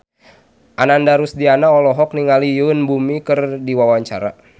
Ananda Rusdiana olohok ningali Yoon Bomi keur diwawancara